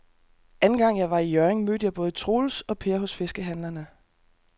Anden gang jeg var i Hjørring, mødte jeg både Troels og Per hos fiskehandlerne.